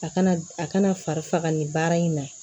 A kana a kana fari faga nin baara in na